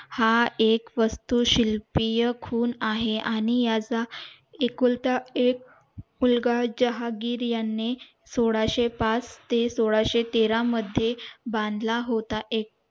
हा एक वस्तू शिल्पीय खून आहे आणि याचा एकुलता एक मुलगा जहागीर यांनी सोळाशे पाच सोळाशे तेरा मध्ये बांधला होता